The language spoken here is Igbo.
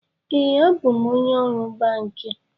Ee, abụ m onye ọrụ banki